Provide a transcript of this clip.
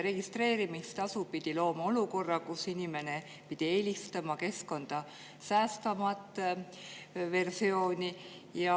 Registreerimistasu aga peaks looma olukorra, kus inimene eelistab keskkonda säästvamat versiooni.